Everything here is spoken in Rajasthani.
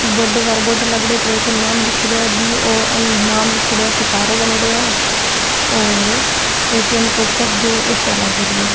बडो सारो बोर्ड लागेड़ो है ये पे एटीएम नाम लीखेड़ो है बी वो अल नाम लीखेड़ो है सितारों बनेडो है और एटीएम के ऊपर दो एसीया लागेड़ी है।